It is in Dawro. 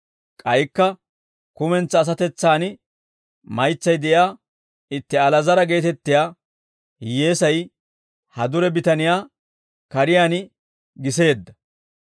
K'aykka kumentsaa asatetsan maytsay de'iyaa itti Ali'aazara geetettiyaa hiyyeesay, ha dure bitaniyaa kariyaan giseedda.